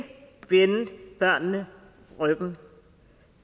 vende børnene ryggen